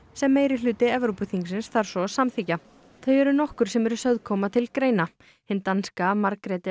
sem meirihluti Evrópuþingsins þarf svo að samþykkja þau eru nokkur sem eru sögð koma til greina hin danska